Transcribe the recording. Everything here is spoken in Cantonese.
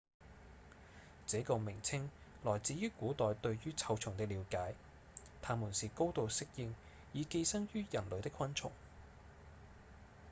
這個名稱來自於古代對於臭蟲的了解──牠們是高度適應以寄生於人體的昆蟲